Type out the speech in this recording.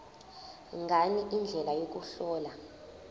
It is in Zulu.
ngani indlela yokuhlola